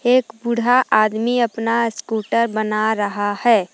एक बूढ़ा आदमी अपना स्कूटर बना रहा है।